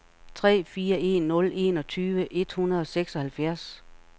tre fire en nul enogtyve et hundrede og seksoghalvfjerds